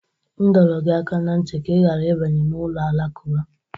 M dọrọ gị aka ná ntị ka ị ghara ịbanye n'ụlọ alakụba!